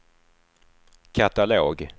katalog